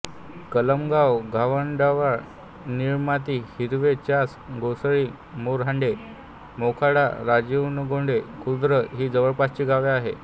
कलमगाव घाणवळदांडवळ निळमाती हिरवे चास घोसाळी मोरहांडे मोखाडा राजीवनगरगोंडे खुर्द ही जवळपासची गावे आहेत